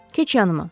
Keç yanıma.